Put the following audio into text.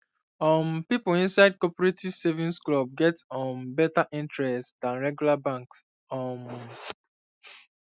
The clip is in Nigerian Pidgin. um people inside cooperative savings club get um better interest than regular bank um